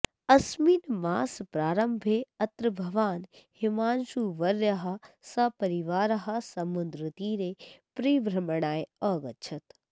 अस्मिन् मासप्रारम्भे अत्र भवान् हिमांशुवर्यः सपरिवारः समुद्रतीरे परिभ्रमणाय अगच्छत्